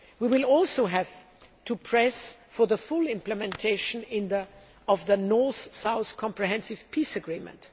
We will also have to press for the full implementation of the North South Comprehensive Peace Agreement.